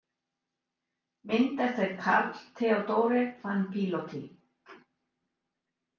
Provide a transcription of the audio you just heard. Mynd eftir Karl Theodore van Piloty.